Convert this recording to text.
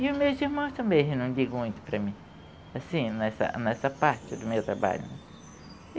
E os meus irmãos também não dizem muito para mim, assim, nessa nessa parte do meu trabalho.